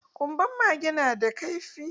Ƙunban mage na da kaifi.